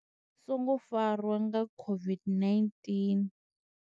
songo farwa nga COVID-19.